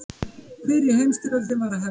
Fyrri heimsstyrjöldin var að hefjast.